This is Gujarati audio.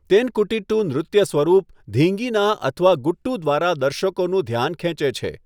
તેનકુટીટ્ટુ નૃત્ય સ્વરૂપ 'ધીંગીના' અથવા 'ગુટ્ટુ' દ્વારા દર્શકોનું ધ્યાન ખેંચે છે.